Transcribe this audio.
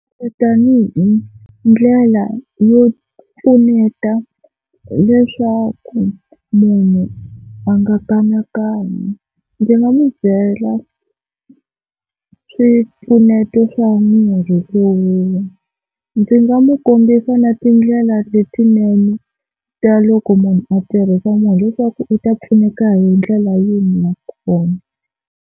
Tani hi ndlela yo pfuneta leswaku munhu a nga kanakani ndzi nga n'wi byela swipfuneto swa mirhi wo nwa. Ndzi nga n'wi kombisa na tindlela letinene ta loko munhu a tirhisa murhi, leswaku u ta pfuneka hi ndlela yihi nakona.